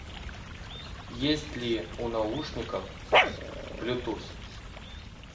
есть ли у наушников блютуз